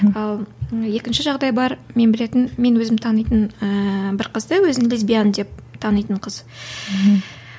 ал екінші жағдай бар мен білетін мен өзім танитын ыыы бір қызды өзін лесбиян деп танитын қыз мхм